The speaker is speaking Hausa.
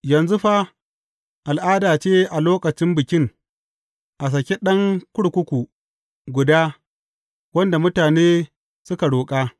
Yanzu fa, al’ada ce a lokacin Bikin, a saki ɗan kurkuku guda wanda mutane suka roƙa.